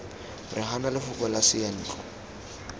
re gana lefoko la seyantlo